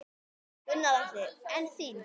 Gunnar Atli: En þín?